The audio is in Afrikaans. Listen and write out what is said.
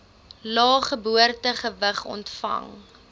lae geboortegewig ontvang